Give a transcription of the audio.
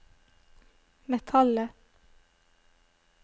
metallet